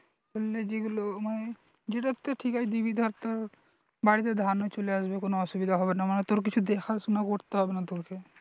করলে যেগুলো মানে যেটাতে ঠিকায় দিবি ধর তোর বাড়ীতে ধানও চলে আসবে কোনো অসুবিধা হবে না মানে তোর কিছু দেখাশোনা করতে হবে না তোকে